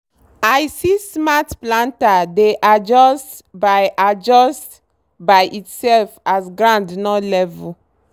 i see smart planter dey adjust by adjust by itself as ground no level.